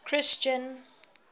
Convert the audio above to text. christian